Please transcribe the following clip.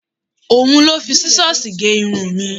Òhun ló fi Sísọ́sìì gé irun mi.